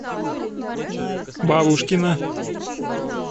бабушкина